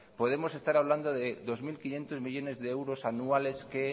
podemos estar hablando de dos mil quinientos millónes de euros anuales que